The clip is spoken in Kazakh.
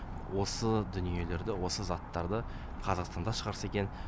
осы дүниелерді осы заттарды қазақстанда шығарса екен